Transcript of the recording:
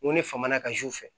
N ko ne faamana ka zuw fɛ